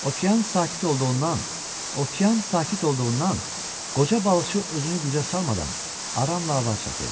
Okean sakit olduğundan, okean sakit olduğundan, qoca balıqçı özünü gücə salmadan aramla avar çəkirdi.